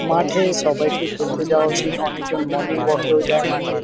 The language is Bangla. মাঠে সবাইকে খেলতে যাওয়া উচিত। অনেকজন মর্নিং ওয়াক -এও যায় মাঠে ।